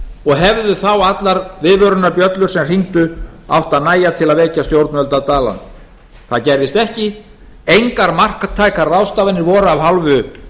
og hefðu þá allar viðvörunarbjöllur sem hringdu átt að nægja til að vekja stjórnvöld af dvalanum það gerðist ekki engar marktækar ráðstafanir voru af hálfu